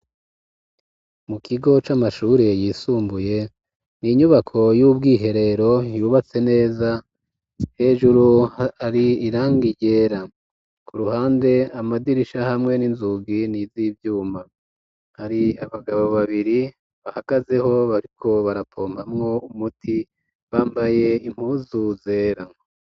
Mu kigo c'amashure yisumbuye, n'inyubako y'ubwiherero yubatse neza, hejuru hari irangi ryera, ku ruhande amadirisha hamwe n'inzugi niz'ivyuma, hari abagabo babiri bahagazeho bariko barapompamwo umuti, bambaye impuzu zera.